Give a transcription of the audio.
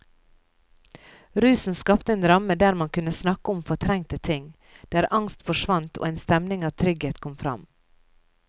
Rusen skapte en ramme der man kunne snakke om fortrengte ting, der angst forsvant og en stemning av trygghet kom fram.